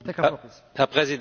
Herr Präsident!